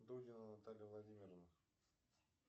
дудина наталья владимировна